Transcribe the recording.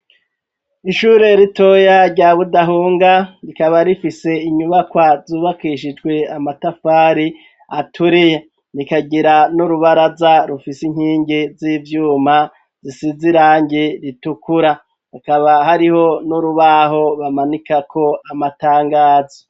Ishure ritoya rya budahunga rikaba rifise inyubakwa zubakishijwe amatafari aturiya rikagira n'urubara za rufisi nkingi z'ivyuma zisize irangi ritukura akaba hariho n'urubaho bamanika ko amatangazo.